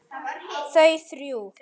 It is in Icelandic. Þau þrjú.